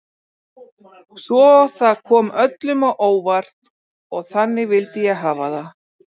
Svo það kom öllum á óvart og þannig vildi ég hafa það.